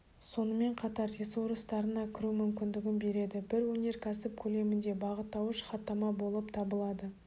сонымен қатар ресурстарына кіру мүмкіндігін береді бір өнеркәсіп көлемінде бағыттауыш хаттама болып табылады